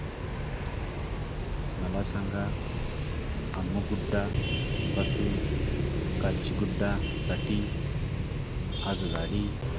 मला सांगा अम्मुगुडा पासून काचीगुडा साठी आगगाडी